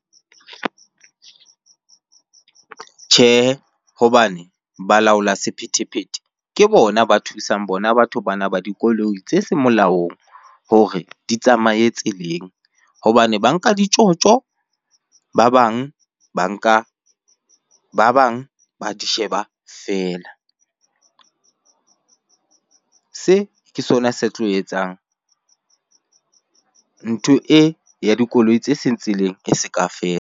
Tjhe, hobane balaola sephethephethe ke bona ba thusang bona batho bana ba dikoloi tse seng molaong hore di tsamaye tseleng. Hobane ba nka ditjotjo, ba bang ba nka ba bang ba di sheba feela. Se ke sona se tlo etsang ntho e ya dikoloi tse seng tseleng e se ka .